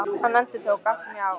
Hann endurtók: Allt sem ég á